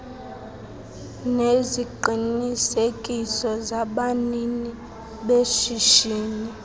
neziqinisekiso zabanini beshishini